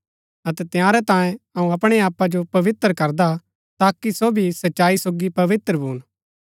अतै तंयारै तांयें अऊँ अपणै आपा जो पवित्र करदा हा ताकि सो भी सच्चाई सोगी पवित्र भून